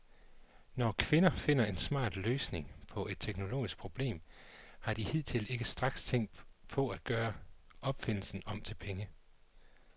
Når kvinder finder en smart løsning på et teknologisk problem, har de hidtil ikke straks tænkt på at gøre opfindelsen om til penge.